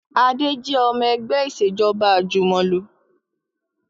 Adé jẹ́ ọmọ ẹgbẹ́ Ìṣèjọ́ba àjùmọ̀lò